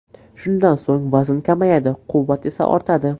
Shundan so‘ng vazn kamayadi, quvvat esa ortadi”.